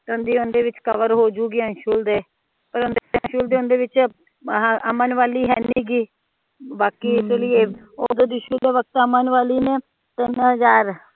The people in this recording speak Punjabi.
ਕਵਰ ਹੋ ਜਾਊਗੀ ਅੰਸ਼ੁਲ ਦੇ ਅਮਨ ਵਾਲੀ ਹੈ ਨਹੀਂ ਬਾਕੀ